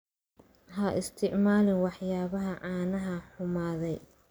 Ha isticmaalin waxyaabaha caanaha xumaaday.